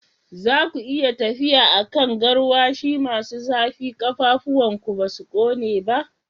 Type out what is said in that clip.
Za ku iya tafiya a kan garwashi masu zafi, ƙafafunku ba su kone ba?